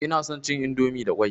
Ina son cin indomi da ƙwai.